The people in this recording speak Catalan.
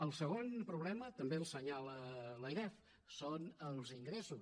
el segon problema també l’assenyala l’airef són els ingressos